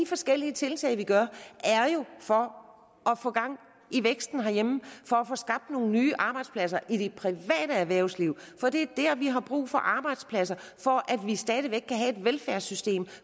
forskellige tiltag vi gør er jo for at få gang i væksten herhjemme for at få skabt nogle nye arbejdspladser i det private erhvervsliv for det er der vi har brug for arbejdspladser så vi stadig væk kan have et velfærdssystem